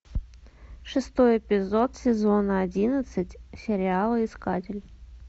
шестой эпизод сезона одиннадцать сериала искатель